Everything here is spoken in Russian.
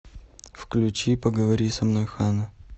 включи поговори со мной ханна